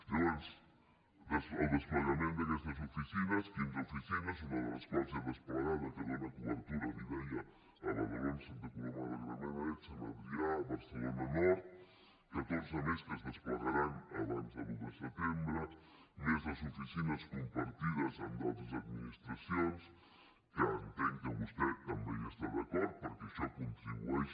llavors el desplegament d’aquestes oficines quinze oficines una de les quals ja desplegada que dona cobertura li deia a badalona santa coloma de gramenet sant adrià barcelona nord catorze més que es desplegaran abans de l’un de setembre més les oficines compartides amb d’altres administracions que entenc que vostè també hi està d’acord perquè això contribueix